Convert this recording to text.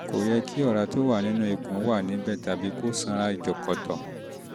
kò yẹ kí ọ̀rá tó wà nínú ikùn wà níbẹ̀ tàbí kó sanra jọ̀kọ̀tọ̀